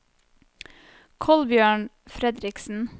Kolbjørn Fredriksen